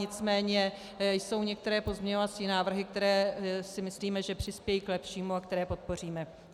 Nicméně jsou některé pozměňovací návrhy, které si myslíme, že přispějí k lepšímu a které podpoříme.